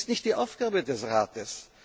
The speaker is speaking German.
Das ist nicht die Aufgabe des Rates.